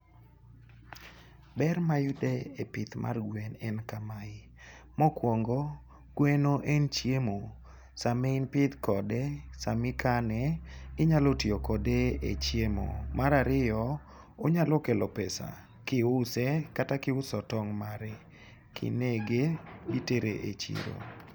Ber mayudo e pith mar gwen en kamae. Mokwongo, gweno en chiemo, sama in pith kode, sama ikane, inyalo tiyo kode e chiemo. Mar ariyo, onyalo kelo pesa kiuse kata kiuso tong' mare. Kinege ,itere e chiro.